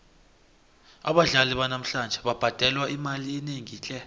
abadlali banamhlanje babhadelwa imali enengi tle